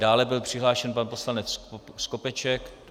Dále byl přihlášen pan poslanec Skopeček.